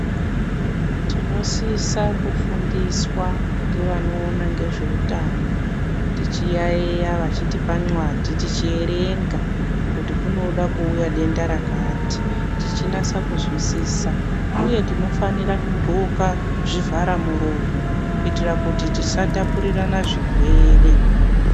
Tinosisa kufundiswa ngevanoona ngezveutano, tichiyaiya, vachitipa nxwadhi tichierenga kuti kunoda kuuya denda rakati, tichinasa kuzwisisa, Uye tinofanira kudxoka zvivharamuromo kuitira kuti tisatapurirana zvirwere.